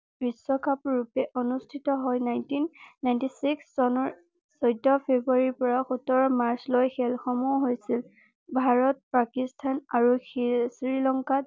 বিশ্বকাপ ৰূপে অনুষ্ঠিত হয় নাইনটিন নাইনটি চিক্স চনৰ চৈধ্য ফেব্ৰুৱাৰী ৰ পৰা সোতৰ মাৰ্চ লৈ খেল সমূহ হৈছিল ভাৰত পাকিস্তান আৰু শ্ৰীলংকা